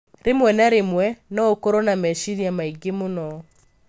Rĩmwe na rĩmwe, no ũkorũo na meciria maingĩ mũno.